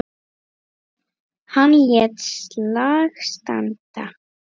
Hann lét slag standa.